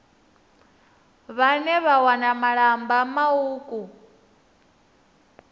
vhane vha wana malamba mauku